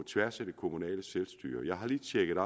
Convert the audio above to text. tværs af det kommunale selvstyre jeg har lige tjekket